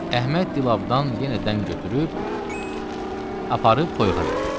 Əhməd dilabdan yenə dən götürüb aparıb toyuğa verdi.